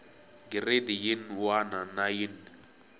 giredi yin wana na yin